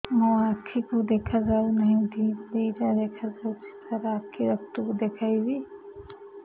ମୋ ଆଖିକୁ ଦେଖା ଯାଉ ନାହିଁ ଦିଇଟା ଦିଇଟା ଦେଖା ଯାଉଛି ସାର୍ ଆଖି ଡକ୍ଟର କୁ ଦେଖାଇବି